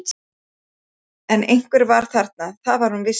En einhver var þarna, það var hún viss um.